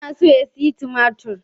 Yana so ya sayi tumatir.